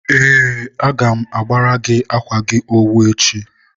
ee, agam agbara gị akwa gị owu echi.